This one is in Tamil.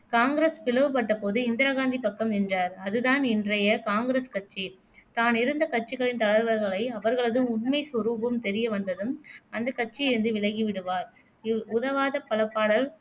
காங்கிரஸ் பிளவு பட்ட போது இந்திராகாந்தி பக்கம் நின்றார் அது தான் இன்றைய காங்கிரஸ் கட்சி தான் இருந்த கட்சிகளின் தலைவர்களை அவர்களது உண்மை சொரூபம் தெரிய வந்ததும் அந்தக் கட்சியில் இருந்து விலகிவிடுவார் இ உதவாத பல பாடல்